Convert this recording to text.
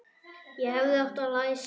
Ég hefði átt að læsa.